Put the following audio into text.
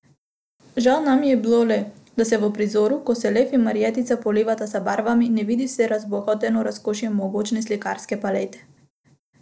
Žal nam je bilo le, da se v prizoru, ko se Lev in Marjetica polivata z barvami, ne vidi vse razbohoteno razkošje mogočne slikarske palete.